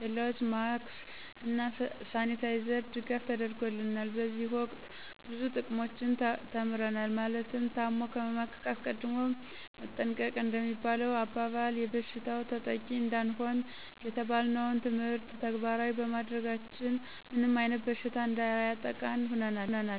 ኬላዎች ማክስ እና ሳኒታይዘር ድጋፍ ተደርጎልናል። በዚህ ወቅት ብዙ ጥቅሞችን ተምረናል ማለትም ታሞ ከመማቀቅ አስቀድሞ መጠንቀቅ እንደሚባለሁ አባባል ይበሽታው ተጠቂ እንዳንሆን የተባልነውን ትምህርት ተግባራዊ ባማድረጋችን ምንም አይነት በሽታ እንዳያጠቃን ሁነናል